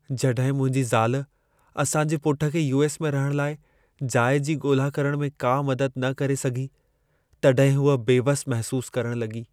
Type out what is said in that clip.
जॾहिं मुंहिंजी ज़ाल असां जे पुट खे यू.एस. में रहण लाइ जाइ जी ॻोल्हा करण में का मदद न करे सघी, तॾहिं हूअ बेवसि महसूस करण लॻी।